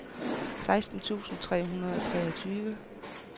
seksten tusind tre hundrede og treogtyve